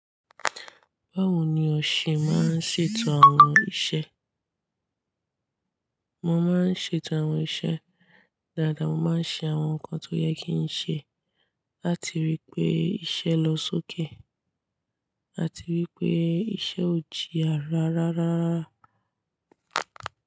Báwo ni o ṣe máa ń ṣètò àwọn iṣẹ́? Mo máa ń ṣètò àwọn iṣẹ́ dáadáa, mo máa ń ṣe àwọn nǹkan tó yẹ kí n ṣe láti rí i pé iṣẹ́ lọ sókè àti wí pé iṣẹ́ ò jíya ràrá rárá.